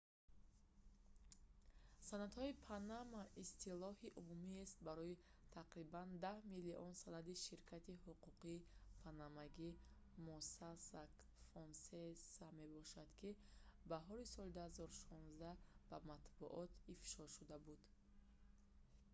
санадҳои панама истилоҳи умумиест барои тақрибан даҳ миллион санади ширкати ҳуқуқии панамагии mossack fonseca мебошад ки баҳори соли 2016 ба матбуот ифшо шуда буд